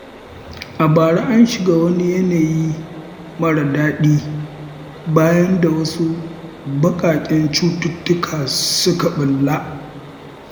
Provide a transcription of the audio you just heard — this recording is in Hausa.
A bara an shiga wani yanayi mara daɗi bayan da wasu baƙaƙƙen cututtuka suka ɓulla.